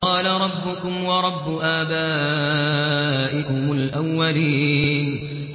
قَالَ رَبُّكُمْ وَرَبُّ آبَائِكُمُ الْأَوَّلِينَ